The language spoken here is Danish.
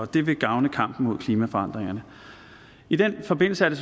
det vil gavne kampen mod klimaforandringerne i den forbindelse er det